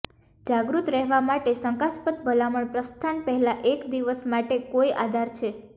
જાગૃત રહેવા માટે શંકાસ્પદ ભલામણ પ્રસ્થાન પહેલાં એક દિવસ માટે કોઈ આધાર છે